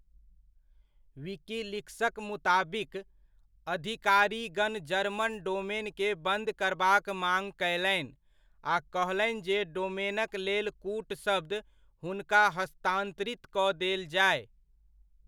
विकीलीक्सक मुताबिक, अधिकारीगण जर्मन डोमेनकेँ बन्द करबाक माङ कयलनि आ कहलनि जे डोमेनक लेल कूटशब्द हुनका हस्तान्तरित कऽ देल जाय।